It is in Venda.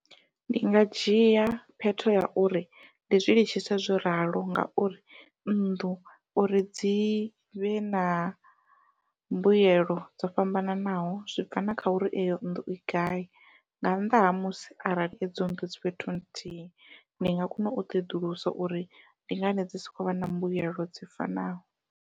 Ndi nga dzhia phetho ya uri ndi zwi litshise zwo ralo ngauri nnḓu uri dzivhe na mbuyelo dzo fhambananaho zwi bva na kha uri eyo nnḓu i gai, nga nnḓa ha musi arali edzo nnḓu dzi fhethu nthihi ndi nga kona u ṱoḓulusa uri ndi ngani dzi si khou vha na mbuyelo dzi fanaho.